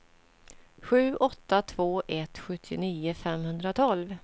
sju åtta två ett sjuttionio femhundratolv